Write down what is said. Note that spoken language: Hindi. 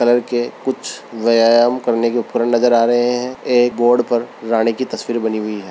कलर के कुछ व्यायाम करने के उपकरण नजर आ रहे है एक बोर्ड पर राणी की तस्वीर बनी हुई है।